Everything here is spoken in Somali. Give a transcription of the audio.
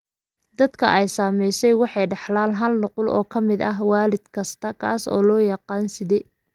Dadka ay saamaysay waxay dhaxlaan hal nuqul oo ka mid ah waalid kasta, kaas oo loo yaqaan side.